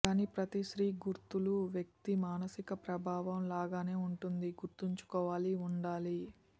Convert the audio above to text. కానీ ప్రతి స్త్రీ గుర్తులు వ్యక్తి మానసిక ప్రభావం లాగానే ఉంటుంది గుర్తుంచుకోవాలి ఉండాలి